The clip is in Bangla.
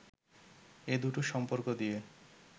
এ দুটো সম্পর্ক দিয়ে